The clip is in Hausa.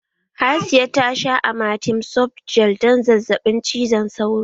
Hasiya tasha amatem softgel don zazzaɓin cizon sauro